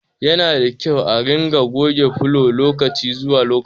Yanada kyau a ringa goge fulogi lokaci zuwa lokaci